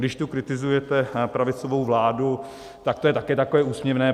Když tu kritizujete pravicovou vládu, tak to je také takové úsměvné.